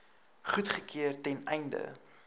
goedgekeur ten einde